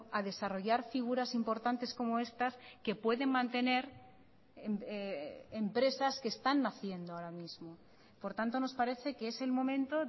a desarrollar figuras importantes como estas que pueden mantener empresas que están naciendo ahora mismo por tanto nos parece que es el momento